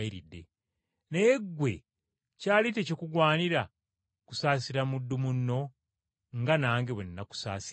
naye ggwe kyali tekikugwanira kusaasira muddu munno nga nange bwe nakusaasidde?’